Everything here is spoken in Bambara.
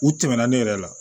U tɛmɛna ne yɛrɛ la